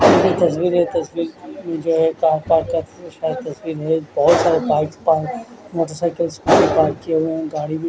तस्वीर है तस्वीर जो है एक पार्क का शायद तस्वीर है बहोत सारे पार्ट का मोटर साइकल भी पार्क किये हुए हैं गाड़ी भी--